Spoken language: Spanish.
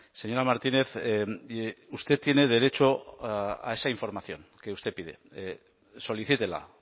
señora martínez usted tiene derecho a esa información que usted pide solicítela